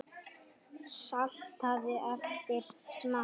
Saltaðu eftir smekk.